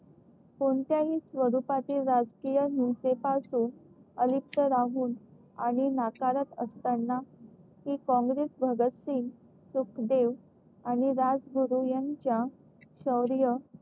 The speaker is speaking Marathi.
कोणत्याही स्वरूपाचे राजकीय हिंसे पासून अलिप्त राहून आणि नाकारत असताना कि काँग्रेस भगत सिंग सुखदेव आणि राजगुरू यांच्या शौर्य